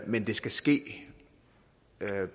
men det skal ske